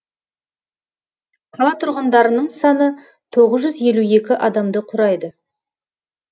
қала тұрғындарының саны тоғыз жүз елу екі адамды құрайды